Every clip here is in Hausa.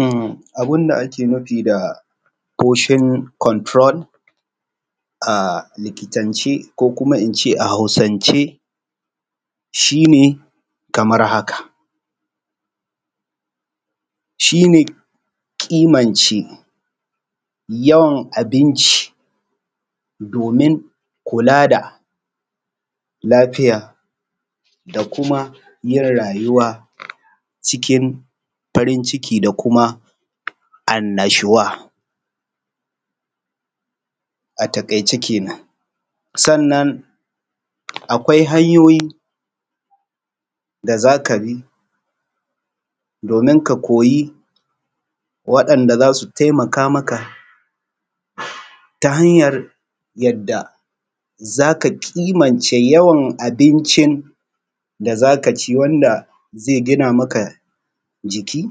A abun da ake nufi da foshon konturol a likitance ko kuma in ce a Hausance shi ne kaman haka shi ne ƙimance yawan abinci domin kula da lafiya da kyauma yin rayuwa cikin farin iki da kuma annashuwa. A taƙaice kana sannan akwai hanyoyi da za ka bi domin ka koyi waɗanda za su taimaka maka ta hanyar yadda zaka ƙimane yawan abincin da za ka ci wanda ze gina maka jiki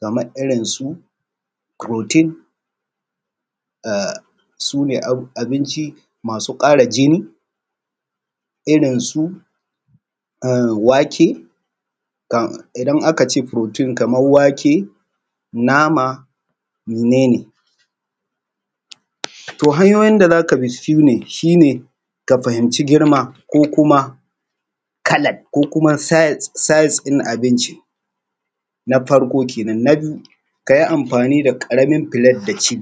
kamar irin su firotin sune abinci masu ƙara jini irin su wake idan akace furotin Kaman wake nama menen to hanyoyin da zakabi shine ka fahimci girma ko kuma ka ko kuma sais ɗin abini na farko kenan na biyu kayi amfani da ƙaramin filet da ci.